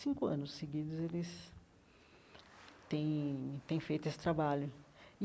Cinco anos seguidos eles têm têm feito esse trabalho.